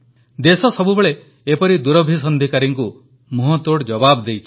ଦେଶ ସବୁବେଳେ ଏପରି ଦୁରଭିସନ୍ଧିକାରୀଙ୍କୁ ମୁହଁତୋଡ଼ ଜବାବ ଦେଇଛି